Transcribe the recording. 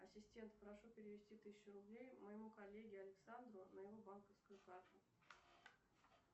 ассистент прошу перевести тысячу рублей моему коллеге александру на его банковскую карту